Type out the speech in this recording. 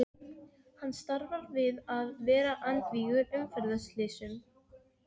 Svo fær hann bátskriflið margborgað hjá vátryggingunni.